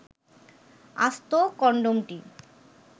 আস্ত কনডমটি